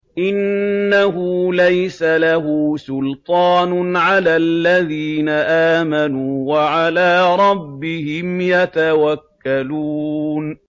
إِنَّهُ لَيْسَ لَهُ سُلْطَانٌ عَلَى الَّذِينَ آمَنُوا وَعَلَىٰ رَبِّهِمْ يَتَوَكَّلُونَ